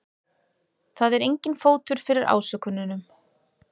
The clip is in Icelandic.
Það er enginn fótur fyrir ásökununum